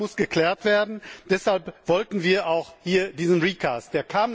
Das muss geklärt werden, deshalb wollten wir auch hier diese Neufassung.